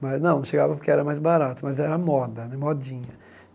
Mas não, não chegava porque era mais barato, mas era moda né, modinha.